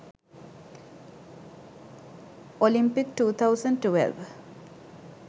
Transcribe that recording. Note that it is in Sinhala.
olympic 2012